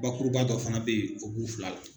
Bakuruba dɔ fana bɛ yen o b'u fila la.